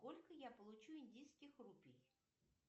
сколько я получу индийских рупий